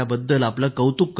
आपलं कौतुक करतो